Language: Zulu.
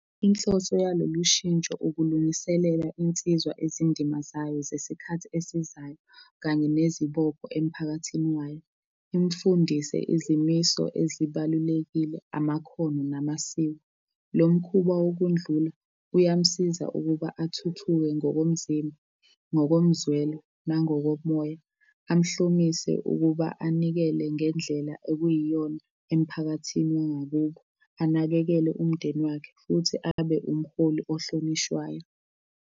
Inhloso yalolu shintsho ukulungiselela insizwa izindima zayo ngesikhathi esizayo kanye nezibopho emphakathini wayo. Imfundise izimiso ezibalulekile, amakhono namasiko. Lo mkhuba wokundlula, uyamsiza ukuba athuthuke ngokomzimba, ngokomzwelo nangokomoya. Amhlomise ukuba anikele ngendlela okuyiyona emphakathini wangakubo, anakekele umndeni wakhe futhi abe umholi ohlonishwayo.